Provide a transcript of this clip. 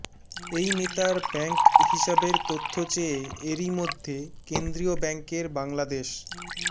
এই নেতার ব্যাংক হিসাবের তথ্য চেয়ে এরই মধ্যে কেন্দ্রীয় ব্যাংকের বাংলাদেশ